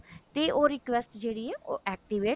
ਤੇ ਉਹ request ਜਿਹੜੀ ਹੈ ਉਹ activate